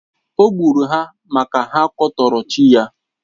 Ò gburu ha maka ha kwutọrò chi ya.